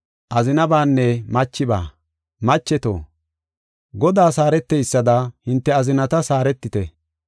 Macheto, Godaas haareteysada hinte azinatas haaretite.